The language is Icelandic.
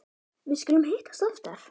Við skulum hittast oftar